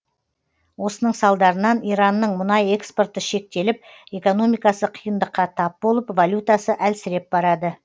осының салдарынан иранның мұнай экспорты шектеліп экономикасы қиындыққа тап болып валютасы әлсіреп барады